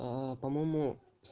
по-моему